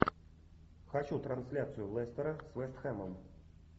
хочу трансляцию лестера с вест хэмом